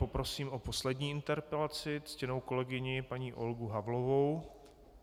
Poprosím o poslední interpelaci ctěnou kolegyni paní Olgu Havlovou.